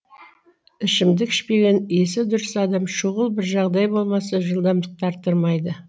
ішімдік ішпеген есі дұрыс адам шұғыл бір жағдай болмаса жылдамдықты арттырмайды